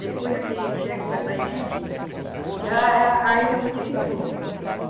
Depois é que chegou essa gente, já éh a aí já modificou.